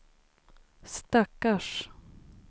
stackars